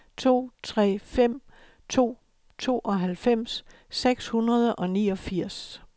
to tre fem to tooghalvfems seks hundrede og niogfirs